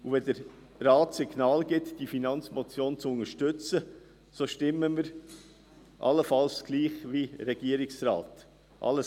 Sollte der Grosse Rat Unterstützung für diese Finanzmotion () signalisieren, würden wir allenfalls wie der Regierungsrat stimmen.